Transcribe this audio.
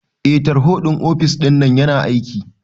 Eh tarho ɗin ofis ɗinnan yana aiki